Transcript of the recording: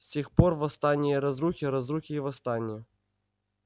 с тех пор восстания разрухи разрухи и восстания